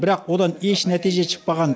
бірақ одан еш нәтиже шықпаған